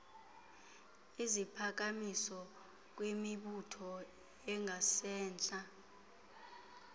iziphakamiso kwimibutho engasentla